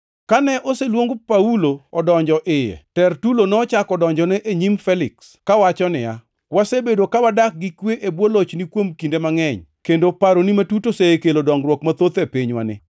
Kane oseluong Paulo odonjo iye, Tertulo nochako donjone e nyim Feliks kawacho niya, “Wasebedo ka wadak gi kwe e bwo lochni kuom kinde mangʼeny kendo paroni matut osekelo dongruok mathoth e pinywani.